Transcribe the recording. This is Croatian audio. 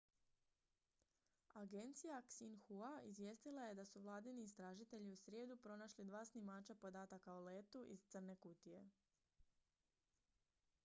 agencija xinhua izvijestila je da su vladini istražitelji u srijedu pronašli dva snimača podataka o letu iz crne kutije